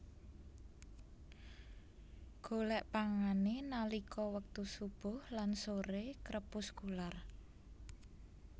Golèk pangané nalika wektu subuh lan soré krepuskular